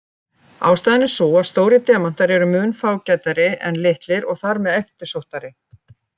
Ástæðan er sú að stórir demantar eru mun fágætari en litlir og þar með eftirsóttari.